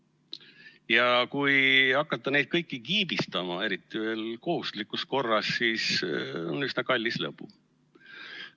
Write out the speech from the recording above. Ja kui hakata neid kõiki kiibistama, eriti veel kohustuslikus korras, siis on see üsna kallis lõbu.